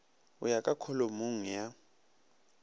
go ya ka kholomong ya